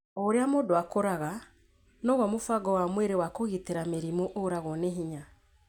O ũrĩa mũndũ akũraga, noguo mũbango wa mwĩrĩ wa kũgitĩra mĩrimũ ũragwo nĩ hinya